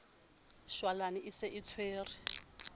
shwalane e se e tshwere